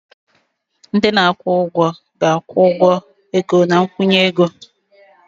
Ndị na-akwụ ụgwọ ga-akwụ ụgwọ ego na nkwụnye ego.